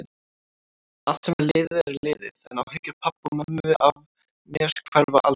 Allt sem er liðið er liðið, en áhyggjur pabba og mömmu af mér hverfa aldrei.